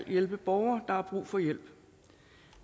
hjælpe borgere der har brug for hjælp